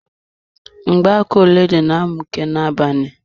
Mgbaka ọlaedo na-amuke na-abalị.